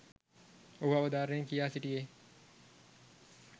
ඔහු අවධාරණයෙන් කියා සිටියේ.